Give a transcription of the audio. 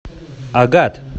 агат